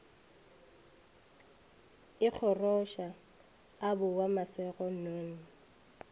ikgoroša a boa mašego nnono